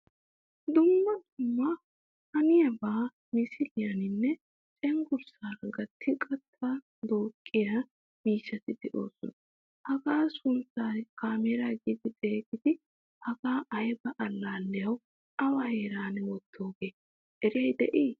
Dumma dumma haniyaba misiliyaninne cenggurssaara gattidi qatta duuqiyaa miishshati deosona. Hagaa suntta kaamera giidi xegiidi hagaa ayba allaliyawu awa heeran wottoge? Eriyay de'i?